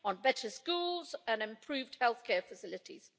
better schools and improved health care facilities.